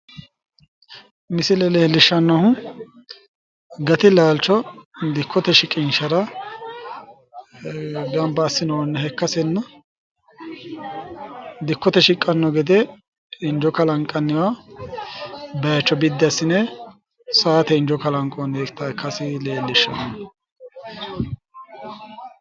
Misile leelishannohu gati laalicho dikkote shiqinshara ganibba assinooniha ikkasina dikkote shiqqano gede injoo kalanqanniwa baycho biddi assine sowate injo kalanqoonihha ikkas leelishanno